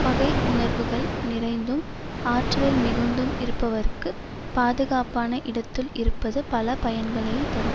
பகை உணர்வுகள் நிறைந்தும் ஆற்றலில் மிகுந்தும் இருப்பவர்க்கு பாதுகாப்பான இடத்துள் இருப்பது பல பயன்களை தரும்